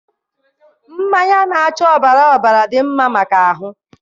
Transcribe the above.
mmanya na-acha ọbara ọbara dị mma maka ahụ